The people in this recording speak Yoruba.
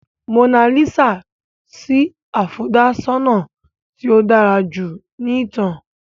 Mona Lisa sì afọ̀dà-ṣọnà tí ó dára jù nínú ìtàn.